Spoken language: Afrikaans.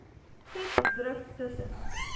vet druk tussen